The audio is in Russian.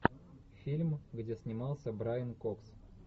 фильм где снимался брайан кокс